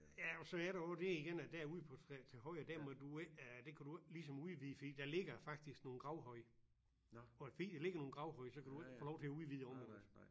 Ja så er der jo det igen at derude på trehøje den må du ikke øh det kan du ikke ligesom udvide fordi der ligger faktisk nogle gravhøje og fordi der ligger nogle gravhøje så kan du ikke få lov til at udvide området